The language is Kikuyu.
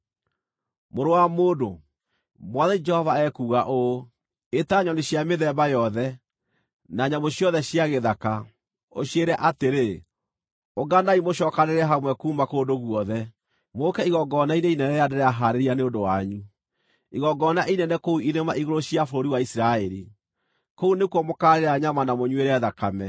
“Mũrũ wa mũndũ, Mwathani Jehova ekuuga ũũ: Ĩta nyoni cia mĩthemba yothe, na nyamũ ciothe cia gĩthaka, ũciĩre atĩrĩ: ‘Ũnganai mũcookanĩrĩre hamwe kuuma kũndũ guothe, mũũke igongona-inĩ inene rĩrĩa ndĩrahaarĩria nĩ ũndũ wanyu, igongona inene kũu irĩma-igũrũ cia bũrũri wa Isiraeli. Kũu nĩkuo mũkaarĩĩra nyama na mũnyuĩre thakame.